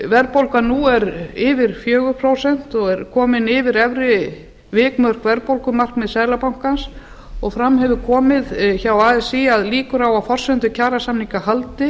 verðbólgan nú er yfir fjögur prósent og er komin yfir efri vikmörk verðbólgumarkmiðs seðlabankans og fram hefur komið hjá así að líkur á að forsendur kjarasamninga haldi